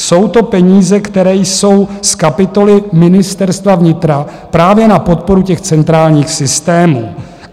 Jsou to peníze, které jsou z kapitoly Ministerstva vnitra právě na podporu těch centrálních systémů.